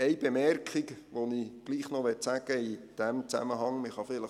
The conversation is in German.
Eine Bemerkung, die ich gleichwohl in diesem Zusammenhang noch anbringen möchte: